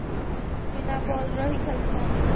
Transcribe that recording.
ବିନା ବଲ୍ ରେ ହି ଖେଲସନ୍?